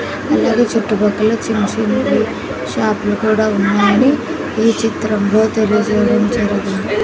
అలాగే చుట్టుపక్కల చిన్న చిన్నవి షాపులు కూడా ఉన్నాయి ఈ చిత్రంలో తెలుగు సేవించడం.